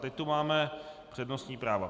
Teď tu máme přednostní práva.